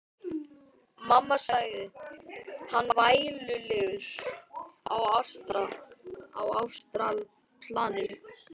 Mamma, sagði hann vælulegur á astralplaninu.